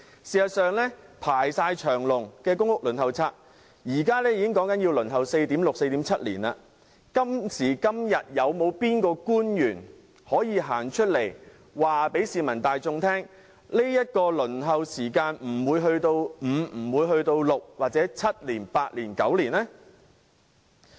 事實上，公屋輪候冊已"排長龍"，現時已要輪候 4.6 年、4.7 年才分配到公屋單位，有哪位官員可以公開告訴市民，輪候時間不會延長至5年、6年、7年、8年或9年？